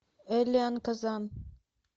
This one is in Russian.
элен казан